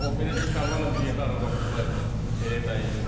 O belə deyək, Karvanla bir yerdə Araz Abdullayev də elitaya yüksəldi.